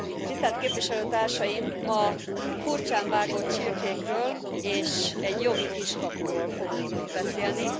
Tisztelt Képviselőtársaim, ma furcsán vágott csirkékről és egy jogi kiskapuról fogunk beszélni.